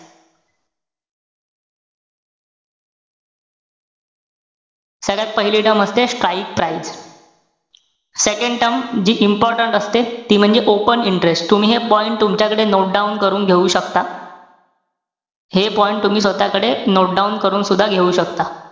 सगळ्यात पहिली term असते strike price. second जी important असते, ती म्हणजे open interest. तुम्ही हे point तुमच्याकडे note down करून घेऊ शकता. हे point तुम्ही स्वतःकडे note down करून सुद्धा घेऊ शकता.